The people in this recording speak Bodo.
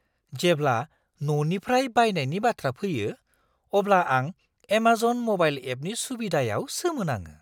जेब्ला न'निफ्राय बायनायनि बाथ्रा फैयो, अब्ला आं एमाजन म'बाइल एपनि सुबिदायाव सोमोनाङो!